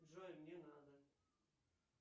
джой не надо